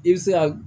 I bɛ se ka